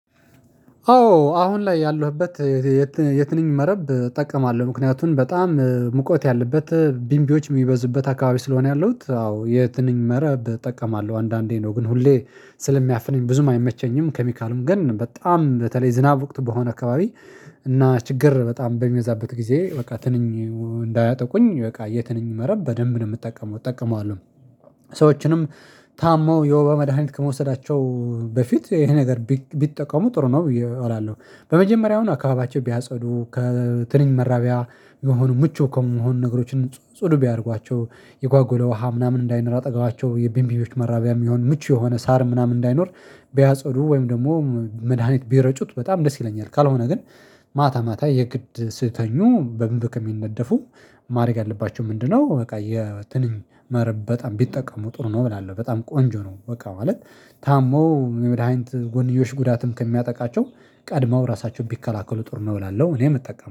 አዎ አሁን ላይ ያለህበት የትንኝ መረብ እጠቀማለሁ ምክንያቱም በጣም ሙቀት ያለበት ቢምቢዎች የሚበዙበት አካባቢ ስለሆነ ያለሁት አዎ የትንኝ መረብ እጠቀማለሁ። አንዳንዴ ነው ግን ሁሌ ስለሚያፍነኝ ብዙም አይመቸኝም። ኬሚካልም ግን በጣም በተለይ ዝናብ ወቅት በሆነ አካባቢ እና ችግር በጣም በሚበዛበት ጊዜ በቃ ትንኝ እንዳያጠቁኝ በቃ የትንኝ መረብ በደንብ ነው የምጠቀመው እጠቀማለሁ። ሰዎችንም ታመው የውበ መድሃኒት ከመውሰዳቸው በፊት ይሄ ነገር ቢጠቀሙ ጥሩ ነው። እውላለሁ በመጀመሪያው አካባቢያቸው ቢያጸዱ ከትንኝ መራቢያ የሆኑ ምቹ ከመሆኑ ነገሮችን ጽዱ ቢያደርጓቸው የጓጉለ ውሃ ምናምን እንዳይነር አጠገባቸው የቢንቢቢዎች መራቢያ የሚሆን ምቹ የሆነ ሳር ምናምን እንዳይኖር ቢያጸዱ ወይም ደግሞ መድሃኒት ቢረጩት በጣም ደስ ይለኛል። ካልሆነ ግን ማታ ማታ የግድ ስተኙ በምብከም የሚነደፉ ማድረግ አለባቸው። ምንድነው? በቃ የትንኝ መረብ በጣም ቢጠቀሙ ጥሩ ነው እላለሁ በጣም ቆንጆ ነው በቃ ማለት። ታመው የመድሃኒት ጎንዮሽ ጉዳትም ከሚያጠቃቸው ቀድመው ራሳቸውን ቢከላከሉ ጥሩ እላለሁ። እኔም እጠቀማለሁ